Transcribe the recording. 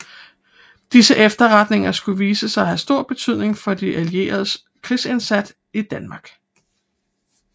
Disse efterretninger skulle vise sig at have stor betydning for de Allieredes krigsindsat i Danmark